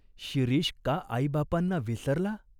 शिरीष का आईबापांना विसरला?